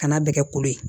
Kana bɛɛ kɛ kolo ye